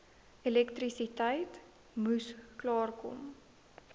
elektrisiteit moes klaarkom